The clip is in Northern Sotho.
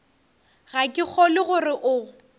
ga ke kgolwe gore o